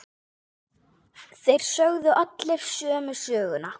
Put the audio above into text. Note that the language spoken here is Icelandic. Þeir sögðu allir sömu söguna.